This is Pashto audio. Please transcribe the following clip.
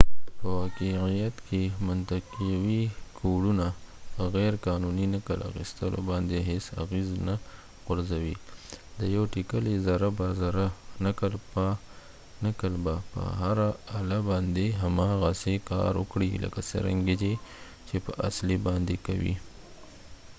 په واقعیت کې منطقوي کوډونه په غیر قانوني نقل اخیستلو باندې هیڅ اغیز نه غورځوي د یو ټیکلي زره په زره نقل به په هره اله باندې هماغسې کار وکړي لکه څرنګه یې چې په اصلي باندې کوي